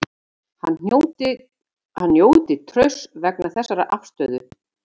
Hann njóti trausts vegna þessarar afstöðu